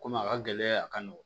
Komi a ka gɛlɛn a ka nɔgɔn